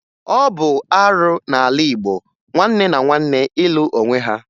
Ọ bụ arụ n'ala Igbo nwanne na nwanne ịlụ onwe ha